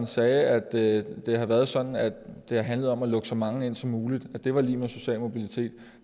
sagde at det har været sådan at det har handlet om at lukke så mange ind som muligt at det var lig med social mobilitet